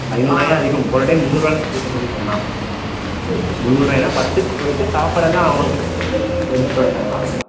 ஐந்நூறு ரூபாயே அதிகம் போன time முந்நூறு ரூபாய்ல போய்ட்டு வந்தோம்னு சொன்னான் அவன் முந்நூறு ரூபாய்ல படத்துக்கு போயிட்டு சாப்பாடு எல்லாம் எடுத்துட்டு வந்துட்டாங்களாம்